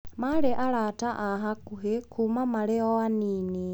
Maarĩ arata a hakuhĩ kuuma marĩ o anini.